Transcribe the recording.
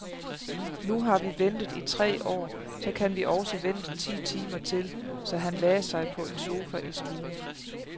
Nu har vi ventet i tre år, så kan vi også vente ti timer til, så han lagde sig på en sofa i stuen.